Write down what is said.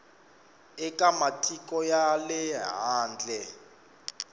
eka matiko ya le handle